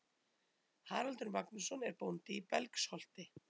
Haraldur Magnússon er bóndi í Belgsholti.